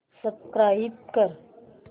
subscribe कर